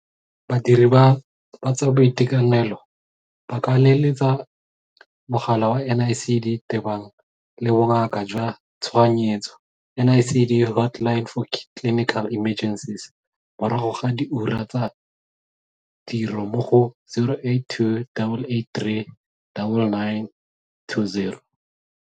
Badiri ba tsa boitekanelo ba ka leletsa mogala wa NICD tebang le Bongaka jwa Tshoganyetso NICD Hotline for Clinical Emergencies morago ga diura tsa tiro mo go 082 883 9920.